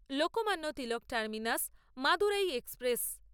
Lokmanya Tilak terminus Madurai express